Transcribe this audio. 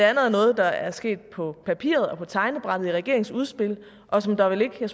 er noget der er sket på papiret og på tegnebrættet i form af regeringens udspil og som der vel ikke er